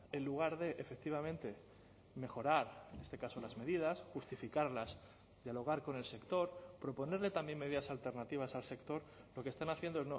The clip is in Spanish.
en lugar de efectivamente mejorar en este caso las medidas justificarlas dialogar con el sector proponerle también medidas alternativas al sector lo que están haciendo